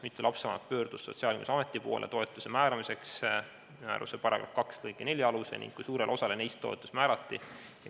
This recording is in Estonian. Mitu lapsevanemat pöördus Sotsiaalkindlustusameti poole toetuse määramiseks määruse § 2 lg 4 alusel ning kui suurele osale neist toetus määrati?